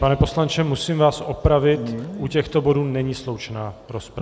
Pane poslanče, musím vás opravit, u těchto bodů není sloučená rozprava.